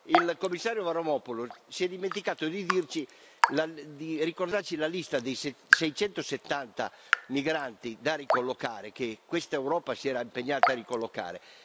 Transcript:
Il commissario Avramopoulos si è dimenticato di ricordarci la lista dei 670 migranti da ricollocare, che questa Europa si era impegnata a ricollocare.